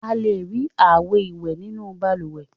A le rí àwo-ìwẹ̀ nínú balùwẹ̀.